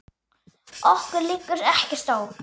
Okkur liggur ekkert á